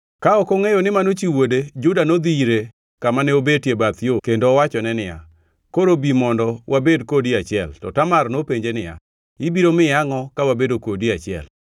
Ka ok ongʼeyo ni mano chi wuode Juda nodhi ire kamane obetie bath yo kendo owachone niya, “Koro bi mondo wabed kodi e achiel.” To Tamar nopenje niya, “Ibiro miya angʼo ka wabedo kodi e achiel?”